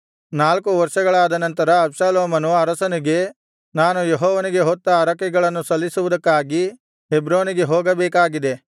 ನಾಲ್ಕು ವರ್ಷಗಳಾದ ನಂತರ ಅಬ್ಷಾಲೋಮನು ಅರಸನಿಗೆ ನಾನು ಯೆಹೋವನಿಗೆ ಹೊತ್ತ ಹರಕೆಗಳನ್ನು ಸಲ್ಲಿಸುವುದಕ್ಕಾಗಿ ಹೆಬ್ರೋನಿಗೆ ಹೋಗಬೇಕಾಗಿದೆ